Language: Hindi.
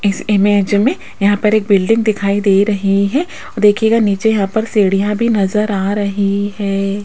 इस इमेज में यहां पर एक बिल्डिंग दिखाई दे रही है और देखिएगा यहां पर सीढ़ियां भी नजर आ रही है।